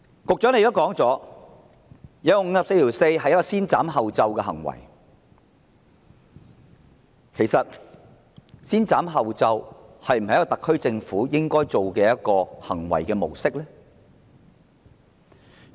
局長承認援引《議事規則》第544條是先斬後奏之舉，但這是否特區政府應該採取的行為模式？